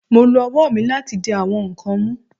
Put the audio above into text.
Mo lo ọwọ mi lati di awọn nkan mu